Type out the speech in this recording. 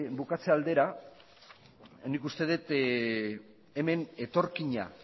bukatze aldera nik uste dut hemen etorkina